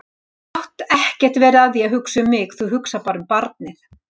Þú mátt ekkert vera að því að hugsa um mig, þú hugsar bara um barnið.